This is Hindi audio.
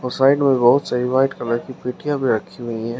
साइड में बहुत सारी व्हाइट कलर की पेटियां भी रखी हुई हैं।